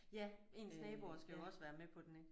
Ja ens naboer skal jo også være med på den ik